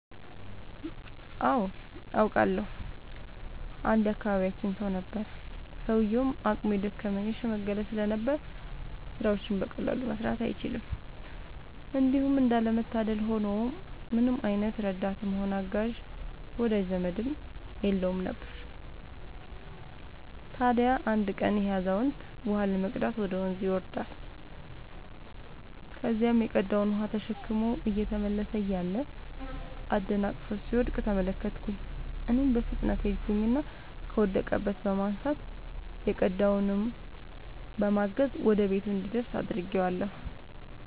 አዎ አውቃለሁ። አንድ የአካባቢያችን ሰው ነበረ፤ ሰውዬውም አቅሙ የደከመ የሽምገለ ስለነበር ስራዎችን በቀላሉ መስራት አይችልም። እንዲሁም እንዳለ መታደል ሆኖ ምንም አይነት ረዳትም ሆነ አጋዥ ወዳጅ ዘመድም የለውም ነበር። ታዲያ አንድ ቀን ይሄ አዛውንት ውሃ ለመቅዳት ወደ ወንዝ ይወርዳል። ከዚያም የቀዳውን ውሃ ተሸክሞ እየተመለሰ እያለ አደናቅፎት ሲወድቅ ተመለከትኩኝ እኔም በፍጥነት ሄድኩኝና ከወደቀበት በማንሳት የቀዳውንም በማገዝ ወደ ቤቱ እንዲደርስ አድርጌአለሁ።